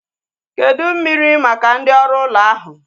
Kedụ mmiri maka ndị oru ụlọ ahu?